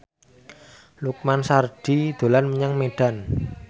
Lukman Sardi dolan menyang Medan